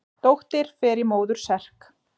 Dóttir fer í móður serk.